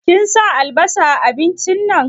Kin sa albasa a abincin nan?